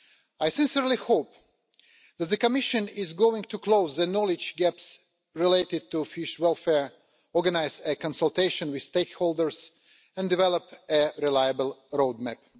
I sincerely hope that the Commission is going to close the knowledge gaps related to fish welfare, organise a consultation with stakeholders and develop a reliable road map.